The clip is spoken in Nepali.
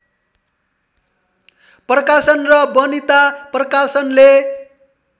प्रकाशन र वनिता प्रकाशनले